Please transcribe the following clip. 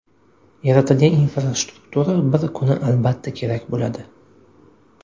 Yaratilgan infrastruktura bir kuni albatta kerak bo‘ladi.